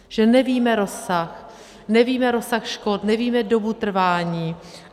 Že nevíme rozsah, nevíme rozsah škod, nevíme dobu trvání.